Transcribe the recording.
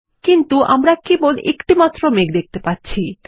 কিন্তু আমরা কেবল একটিমাত্র মেঘ দেখতে পাচ্ছি160